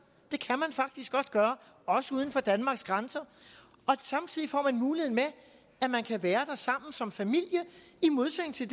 det kan man faktisk godt gøre også uden for danmarks grænser og samtidig får man den mulighed med at man kan være der sammen som familie i modsætning til